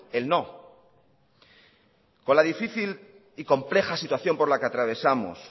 el no con la difícil y compleja situación por la que atravesamos